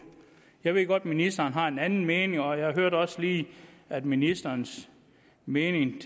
jeg ved godt at ministeren har en anden mening og jeg hørte også lige at ministerens mening i